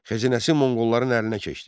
Xəzinəsi monqolların əlinə keçdi.